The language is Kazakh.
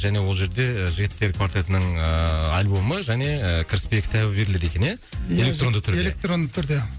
және ол жерде жігіттер квартетінің ыыы альбомы және кіріспе кітабы беріледі екен иә иә электронды түрде электронды түрде